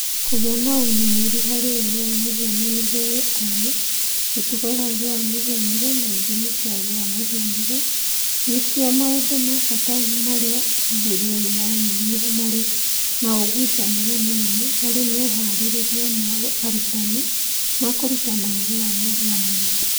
Kũgĩa na ũmĩrĩru harĩ ũũgĩ wa mũhianĩre(AI), mĩtugo ya ũũgĩ wa mũhianĩre(AI) na ithimi cia ũũgĩ wa mũhianĩre(AI) nĩcio maũndũ ma bata marĩa ũthuthuria ũyũ wonire marĩ na ũgucania mũnene harĩ mehaarĩrĩria ma arutani ma kũrutana ũũgĩ wa mũhianĩre(AI).